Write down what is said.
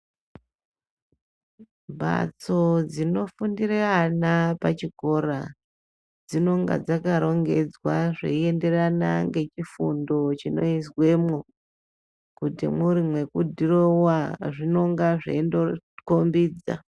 Mbatso dzinofundire ana pachikora dzinonga dzakarongedzwa zveienderana ngechifundo chinoizwemwo. Kuti mwuri mwekudhirowiwa zvinonga zveindokombidza.